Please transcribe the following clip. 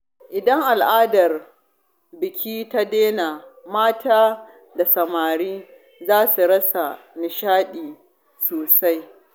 Idan al’adar biki ta daina, mata da samari za su rasa nishaɗi sosai.